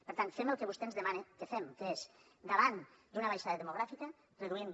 per tant fem el que vostè ens demana que fem que és davant d’una baixada demogràfica reduïm